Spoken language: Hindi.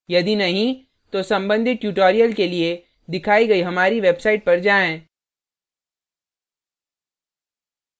यदि नहीं तो संबंधित tutorials के लिए दिखाइ गई हमारी website पर जाएँ